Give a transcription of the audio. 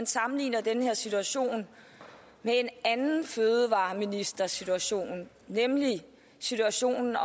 sammenligne den her situation med en anden fødevareministersituation nemlig situationen